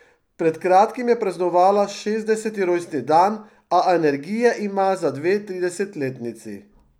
Pred kratkim je praznovala šestdeseti rojstni dan, a energije ima za dve tridesetletnici.